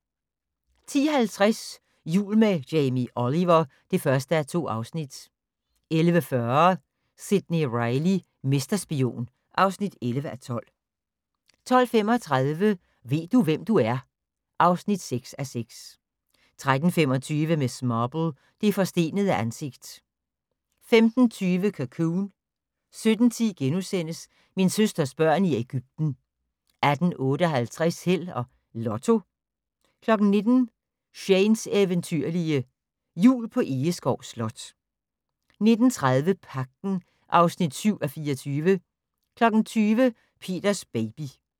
10:50: Jul med Jamie Oliver (1:2) 11:40: Sidney Reilly - mesterspion (11:12) 12:35: Ved du, hvem du er? (6:6) 13:25: Miss Marple: Det forstenede ansigt 15:20: Cocoon 17:10: Min søsters børn i Ægypten * 18:58: Held og Lotto 19:00: Shanes eventyrlige Jul på Egeskov Slot 19:30: Pagten (7:24) 20:00: Peters baby